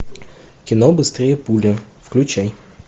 кино быстрее пули включай